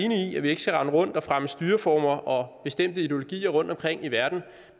at vi ikke skal rende rundt og fremme styreformer og bestemte ideologier rundtomkring i verden